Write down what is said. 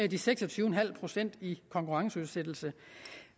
de seks og tyve procent i konkurrenceudsættelse